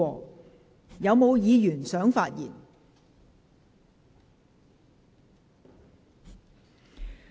是否有議員想發言？